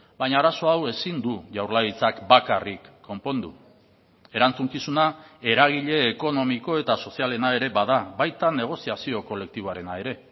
baina arazo hau ezin du jaurlaritzak bakarrik konpondu erantzukizuna eragile ekonomiko eta sozialena ere bada baita negoziazio kolektiboarena ere